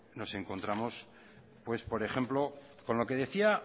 no encontramos por ejemplo con lo que decía